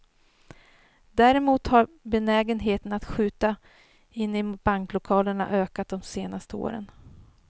Däremot har benägenheten att skjuta inne i banklokalerna ökat de senaste åren.